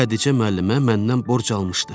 Xədicə müəllimə məndən borc almışdı.